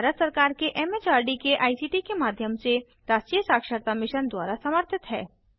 यह भारत सरकार के एमएचआरडी के आईसीटी के माध्यम से राष्ट्रीय साक्षरता मिशन द्वारा समर्थित है